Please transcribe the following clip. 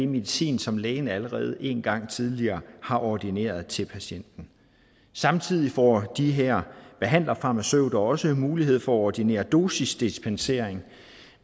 medicin som lægen allerede en gang tidligere har ordineret til patienten samtidig får de her behandlerfarmaceuter også mulighed for at ordinere dosisdispensering